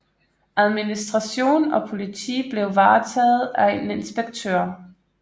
Administration og politi blev varetaget af en inspektør